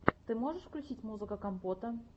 ты можешь включить музыка компота